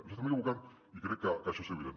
ens estem equivocant i crec que això és evident